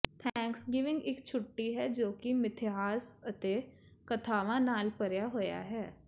Thanksgiving ਇੱਕ ਛੁੱਟੀ ਹੈ ਜੋ ਕਿ ਮਿਥਿਹਾਸ ਅਤੇ ਕਥਾਵਾਂ ਨਾਲ ਭਰਿਆ ਹੋਇਆ ਹੈ